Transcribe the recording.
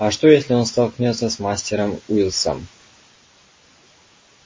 а что если она столкнётся с мастером уилксом